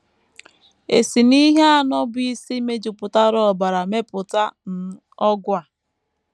E si n’ihe anọ bụ́ isi mejupụtara ọbara mepụta um ọgwụ a?